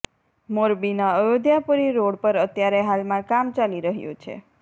મોરબીના અયોધ્યાપુરી રોડ પર અત્યારે હાલમાં કામ ચાલી રહ્યું છે